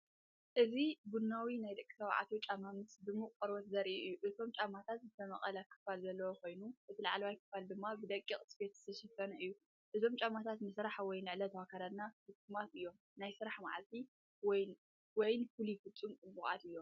እዚ ቡናዊ ናይ ደቂ ተባዕትዮ ጫማ ምስ ድሙቕ ቆርበት ዘርኢ እዩ። እቶም ጫማታት ዝተመቕለ ክፋል ዘለዎ ኮይኖም፡እቲ ላዕለዋይ ክፋል ድማ ብደቂቕ ስፌት ዝተሸፈነ እዩ። እዞምጫማታት ንስራሕ ወይ ንዕለታዊ ኣከዳድና ፍጹማት እዮም። ንናይ ስራሕ መዓልቲ ወይንፍሉይ ፍጻመ ፅቡቃት እዮም።